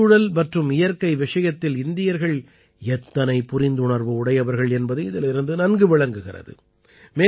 சுற்றுச்சூழல் மற்றும் இயற்கை விஷயத்தில் இந்தியர்கள் எத்தனை புரிந்துணர்வு உடையவர்கள் என்பது இதிலிருந்து நன்கு விளங்குகிறது